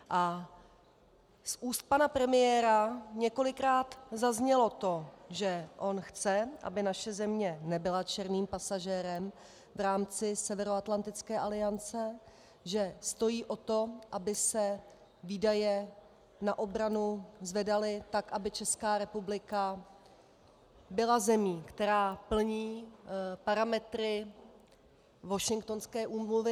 A z úst pana premiéra několikrát zaznělo to, že on chce, aby naše země nebyla černým pasažérem v rámci Severoatlantické aliance, že stojí o to, aby se výdaje na obranu zvedaly tak, aby Česká republika byla zemí, která plní parametry Washingtonské úmluvy.